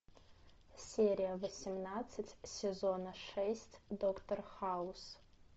серия восемнадцать сезона шесть доктор хаус